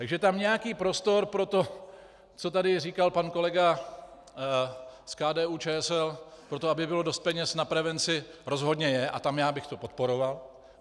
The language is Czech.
Takže tam nějaký prostor pro to, co tady říkal pan kolega z KDU-ČSL, pro to, aby bylo dost peněz na prevenci, rozhodně je a tam já bych to podporoval.